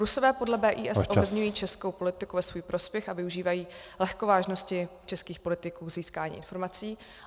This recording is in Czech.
Rusové podle BIS ovlivňují českou politiku ve svůj prospěch a využívají lehkovážnosti českých politiků k získání informací.